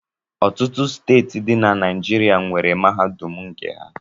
Ọtụtụ steeti ndi di na Naịjirịa nwere mahadum nke ha